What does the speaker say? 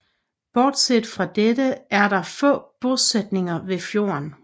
Bortset fra dette er der få bosætninger ved fjorden